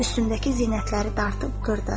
Üstündəki zinətləri dartıb qırdı.